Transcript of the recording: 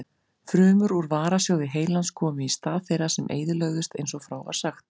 Frumur úr varasjóði heilans komu í stað þeirra sem eyðilögðust eins og frá var sagt.